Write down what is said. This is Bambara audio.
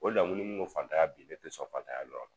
O de la ni mun ko fantanya bi ne te sɔn fatanya nɔ don